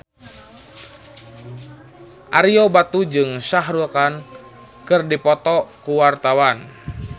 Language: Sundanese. Ario Batu jeung Shah Rukh Khan keur dipoto ku wartawan